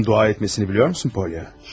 Sən dua etməyi bilirsənmi, Polya?